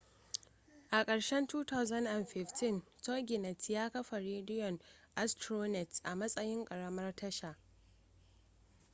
a karshen 2015 toginet ya kafa rediyon astronet a matsayin ƙaramar tasha